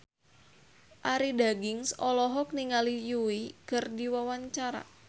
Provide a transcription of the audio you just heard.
Arie Daginks olohok ningali Yui keur diwawancara